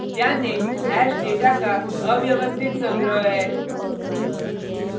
ध्यान दें hash data का अव्यवस्थित संग्रह है